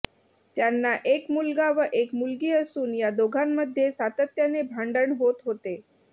त्यांना एक मुलगा व एक मुलगी असून या दोघांमध्ये सातत्याने भांडण होत होते